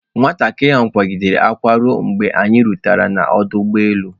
Nwatakịrị ahụ akwaa gidere akwa ruo mgbe anyi rutere n'ọdụ ụgbọ elu.